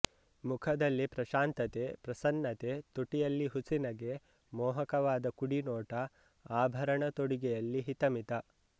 ಮುಖದಲ್ಲಿ ಪ್ರಶಾಂತತೆ ಪ್ರಸನ್ನತೆ ತುಟಿಯಲ್ಲಿ ಹುಸಿನಗೆ ಮೋಹಕವಾದ ಕುಡಿನೋಟ ಆಭರಣ ತೊಡಿಗೆಯಲ್ಲಿ ಹಿತ ಮಿತ